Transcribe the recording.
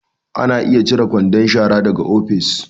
Ana iya cire kwandon shara daga ofis